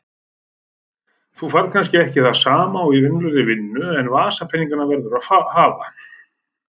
Þú færð kannski ekki það sama og í venjulegri vinnu en vasapeninga verðurðu að hafa.